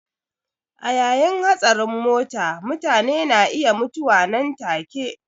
A yayin hatsarin mota mutane na iya mutuwa nan take.